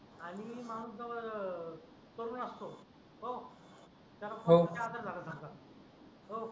तरुण असतो तो त्याला हो असर झाल्या सारखा